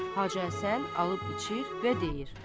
Hacı Həsən alıb içir və deyir: